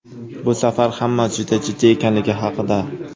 Bu safar hammasi juda jiddiy ekanligi haqida.